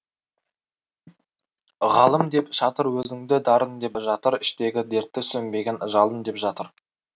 ғалым деп жатыр өзіңді дарын деп жатыр іштегі дертті сөнбеген жалын деп жатыр